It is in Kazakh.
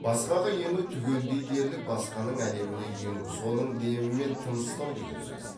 басқаға ену түгелдей дерлік басқаның әлеміне ену соның демімен тыныстау деген сөз